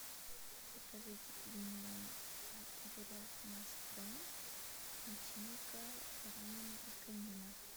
закажите пельмени от бурят мяс пром начинка баранина и конина